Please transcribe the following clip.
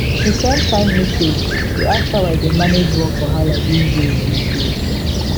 she send kind message dey ask how i dey manage work wahala these days these days